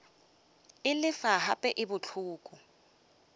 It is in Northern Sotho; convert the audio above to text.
e lefa gape e bohloko